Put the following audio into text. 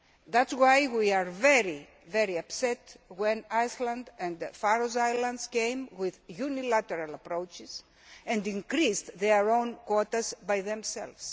That is why we were very upset when Iceland and the Faroe Islands came with unilateral approaches and increased their own quotas by themselves.